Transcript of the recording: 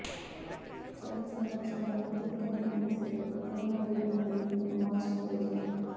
చర్మ సంరక్షణలో అతి ముఖ్యమైన దశల్లో తేమను వేయడం అనేది ఒక మాయిశ్చరైజర్